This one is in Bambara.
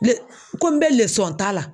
Ko n bɛ ta la.